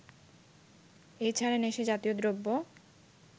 এ ছাড়া নেশাজাতীয় দ্রব্য